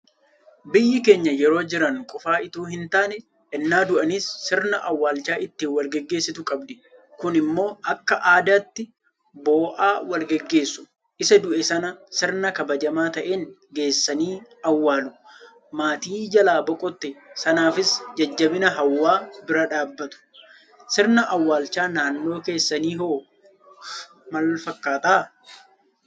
Biyyi keenya yeroo jiran qofa itoo hintaane ennaa du'anis sirna awwaalchaa ittiin walgaggeessitu qabdi. Kunimmoo akka aadaatti boo'aa walgaggeessu. Isa du'e sana sirna kabajamaa ta'een geessanii awwaalu. Maatii jalaa boqote sanaafis jajjabina hawwaa bira dhaabbatu. Sirni awwaalcha naannoo keessaniiwoo maalfakkaata?